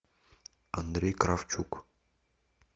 андрей кравчук